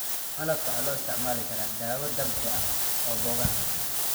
Malabka waxaa loo isticmaali karaa dawo dabiici ah oo boogaha.